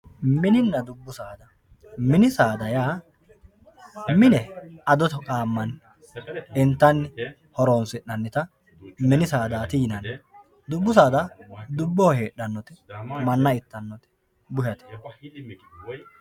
mininna dubbu saada mini saada yaa mine ado qaammanni intanni horonsi'nanita mini saadaati yinanni dubbu saada dubboho heedhannote manna ittannote bushate.